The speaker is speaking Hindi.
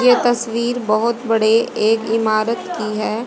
यह तस्वीर बहोत बड़े एक इमारत की हैं।